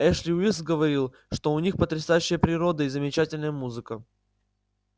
эшли уилкс говорит что у них потрясающая природа и замечательная музыка